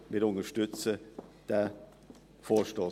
Wir unterstützen diesen Vorstoss.